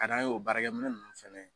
A dan ye o baarakɛ minɛn nunnu fɛnɛ ye